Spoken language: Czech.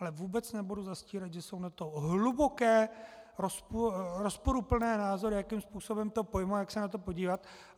Ale vůbec nebudu zastírat, že jsou na to hluboké rozporuplné názory, jakým způsobem to pojmout, jak se na to podívat.